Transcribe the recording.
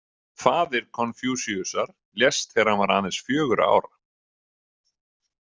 Faðir Konfúsíusar lést þegar hann var aðeins fjögurra ára.